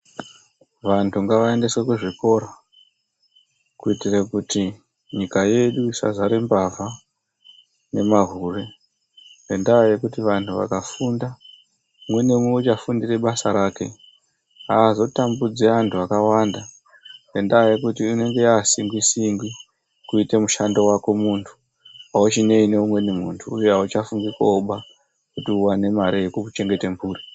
Vantu ngavaendeswe kuzvikora kuitira kuti Nyika yedu isazara mbavha nemahure ngendaa yekuti vantu vakafunda umwe naumwe uchafundira basa rake aazotambudzi antu akawanda Ngendaa yekuti inenge yaasingwi singwi kuita mushando wako muntu auchinei neumweni muntu uye auchafungi kooba kuti uwane mare Yekuchengeta mhuri.